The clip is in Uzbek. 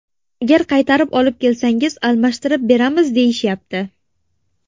Agar qaytarib olib kelsangiz, almashtirib beramiz deyishyapti.